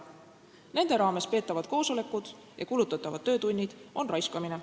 Nende raames peetavad koosolekud ja nende jaoks kulutatavad töötunnid on raiskamine.